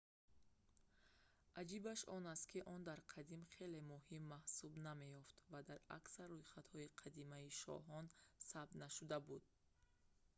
аҷибаш он аст ки он дар қадим хеле муҳим маҳсуб намеёфт ва дар аксар рӯйхатҳои қадимаи шоҳон сабт нашуда буд